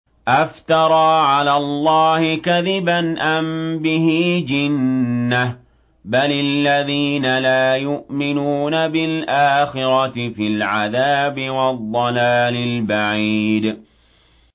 أَفْتَرَىٰ عَلَى اللَّهِ كَذِبًا أَم بِهِ جِنَّةٌ ۗ بَلِ الَّذِينَ لَا يُؤْمِنُونَ بِالْآخِرَةِ فِي الْعَذَابِ وَالضَّلَالِ الْبَعِيدِ